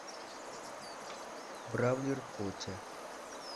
бравлер котя